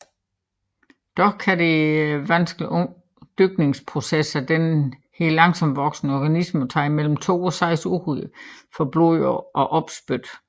Dog kan den vanskelige dyrkningsproces af denne langsomtvoksende organisme tage mellem to og seks uger for blod og opspyt